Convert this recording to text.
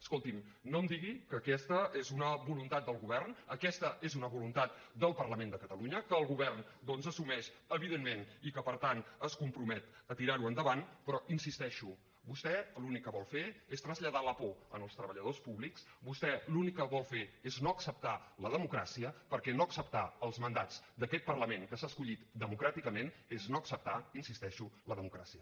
escolti’m no em digui que aquesta és una voluntat del govern aquesta és una voluntat del parlament de catalunya que el govern doncs assumeix evidentment i que per tant es compromet a tirar ho endavant però hi insisteixo vostè l’únic que vol fer és traslladar la por als treballadors públics vostè l’únic que vol fer és no acceptar la democràcia perquè no acceptar els mandats d’aquest parlament que s’ha escollit democràticament és no acceptar hi insisteixo la democràcia